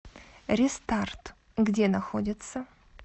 рестарт где находится